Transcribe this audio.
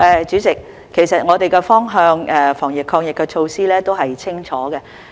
主席，我們的防疫抗疫方向和措施都是清晰的。